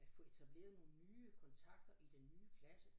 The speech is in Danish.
At få etableret nogle nye kontakter i den nye klasse